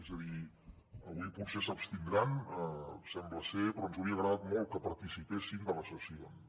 és a dir avui potser s’abstindran sembla ser però ens hauria agradat molt que participessin de les sessions